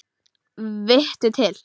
Vittu til!